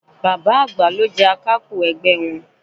Bàbá àgbà ló jẹ Akápò ẹgbẹ́ wọn